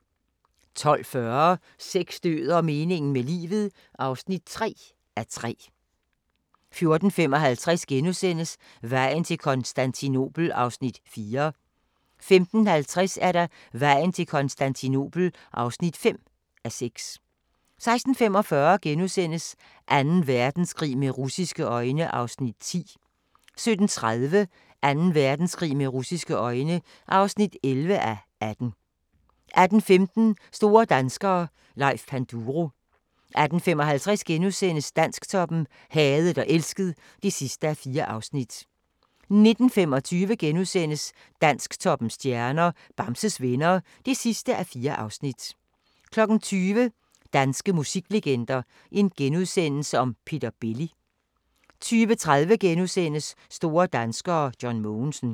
12:40: Sex, død og meningen med livet (3:3) 14:55: Vejen til Konstantinopel (4:6)* 15:50: Vejen til Konstantinopel (5:6) 16:45: Anden Verdenskrig med russiske øjne (10:18)* 17:30: Anden Verdenskrig med russiske øjne (11:18) 18:15: Store danskere - Leif Panduro 18:55: Dansktoppen: Hadet og elsket (4:4)* 19:25: Dansktoppens stjerner: Bamses Venner (4:4)* 20:00: Danske musiklegender: Peter Belli * 20:30: Store danskere: John Mogensen *